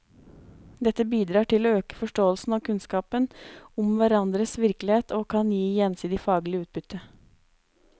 Dette bidrar til å øke forståelsen og kunnskapen om hverandres virkelighet og kan gi gjensidig faglig utbytte.